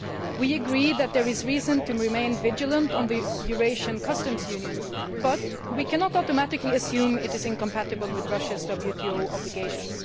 We agree that there is reason to remain vigilant on the Eurasian Customs Union, but we cannot automatically assume it is incompatible with Russia's WTO obligations.